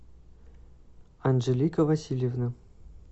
анжелика васильевна